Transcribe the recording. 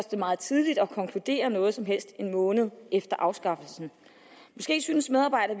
meget tidligt at konkludere noget som helst en måned efter afskaffelsen måske synes medarbejdere